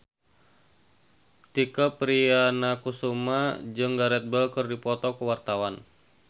Tike Priatnakusuma jeung Gareth Bale keur dipoto ku wartawan